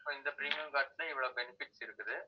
so இந்த premium card ல இவ்வளவு benefits இருக்குது